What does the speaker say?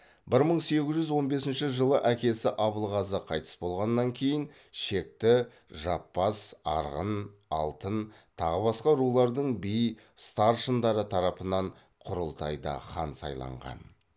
бір мың сегіз жүз он бесінші жылы әкесі абылғазы қайтыс болғаннан кейін шекті жаппас арғын алтын тағы басқа рулардың би старшындары тарапынан құрылтайда хан сайланған